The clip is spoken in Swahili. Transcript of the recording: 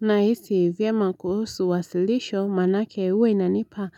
Na hisi vyema kuhusu wasilisho manake huwa inanipa